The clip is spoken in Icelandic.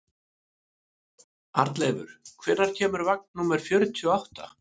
Arnleifur, hvenær kemur vagn númer fjörutíu og átta?